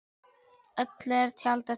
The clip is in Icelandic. Öllu er tjaldað til.